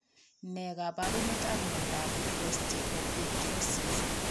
Nee kaparunet ap mionda osteopetrosis